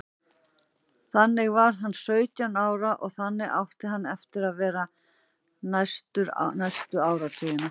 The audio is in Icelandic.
Þannig var hann sautján ára og þannig átti hann eftir að vera næstu áratugina.